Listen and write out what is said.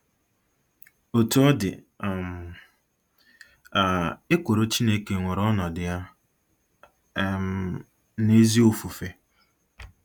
Otú ọ dị um, um ekworo Chineke nwere ọnọdụ ya um n'ezi ofufe.